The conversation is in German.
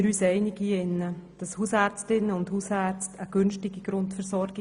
Hausärztinnen und Hausärzte leisten eine günstige Grundversorgung.